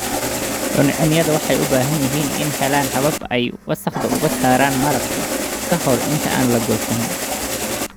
Cuncunyadu waxay u baahan yihiin inay helaan habab ay wasakhda uga saaraan malabka ka hor inta aan la goosan.